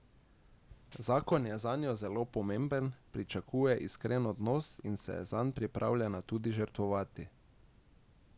Zakon je zanjo zelo pomemben, pričakuje iskren odnos in se je zanj pripravljena tudi žrtvovati.